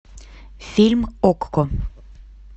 фильм окко